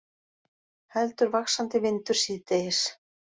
Heldur vaxandi vindur síðdegis